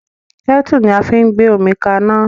Kẹ́tù ni a fi ń gbé omi kaná